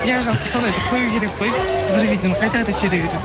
иә жалпы сондайды қою керек қой бір видеоны қайта қайта жібере беруді